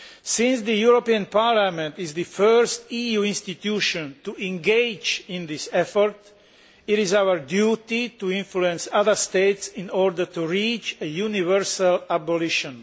Since the European Parliament is the first EU institution to engage in this effort, it is our duty to influence other states in order to reach a universal abolition.